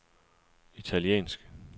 italiensk